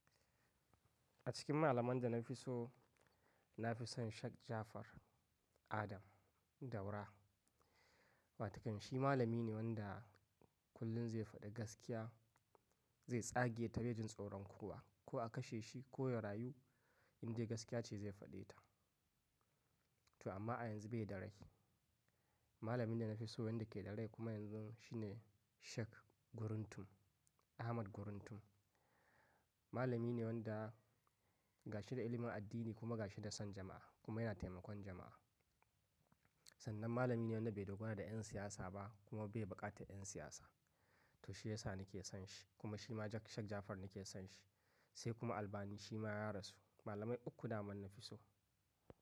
A cikin malaman da na fi so, na fi son Sheik Ja'afar Adam Daura. Wato shi malami ne wanda kullum zai faɗi gaskiya, zai tsage ta bejin tsoron kowa. Ko a kashe shi ko ya rayu, indai gaskiya ce zai faɗe ta. To amma a yanzu bai da rai. Malamin da na fi so, wanda ke da rai kuma yanzu shine Sheik Guruntum, Ahmad Guruntum. Malami ne wanda gashi da ilimin addini, kuma gashi da son jama'a, kuma yana taimakon jama'a. Sannan malami ne wanda bai dogara da 'yan siyasa ba, kuma bai buƙatan 'yan siyasa. To shi ya sa na ke son shi, kuma shi ma Sheik Ja'afar na ke son shi. Sai kuma Albani shi ma ya rasu. Malamai uku daman na fi so.